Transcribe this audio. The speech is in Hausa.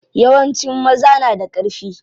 Yawancin maza na da ƙarfi.